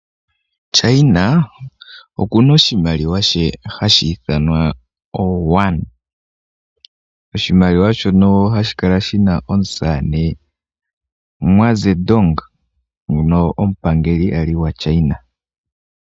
China okuna oshimaliwa she hashi ithanwa oYuan, hadhi Kala shina omusamane Mwazeidong omupangeli ali gwa China.